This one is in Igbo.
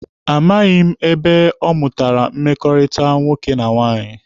A maghị m ebe ọ mụtara mmekọrịta nwoke na nwaanyị.